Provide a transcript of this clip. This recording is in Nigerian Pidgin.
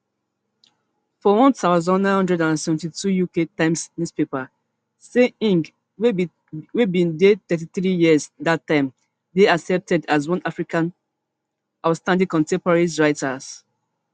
for one thousand, nine hundred and seventy-two uk times newspaper say ngg wey bin dey thirty-three years dat time dey accepted as one of africa outstanding contemporary writers